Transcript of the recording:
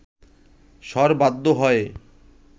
শর বাধ্য হয়ে